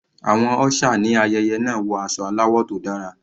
Àwọn usher ní ayẹyẹ náà wọ aṣọ aláwọ̀ tó dára.